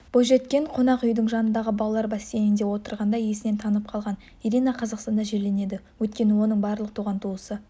бойжеткен қонақүй жанындағы балалар бассейнінде отырғанда есінен танып қалған ирина қазақстанда жерленеді өйткені оның барлық туған-туысы